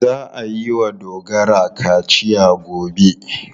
Za a yi wa Dogara kaciya gobe.